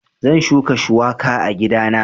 Zan shuka shuwaka a gidana